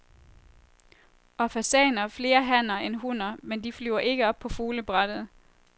Og fasaner, flere hanner end hunner, men de flyver ikke op på fuglebrættet.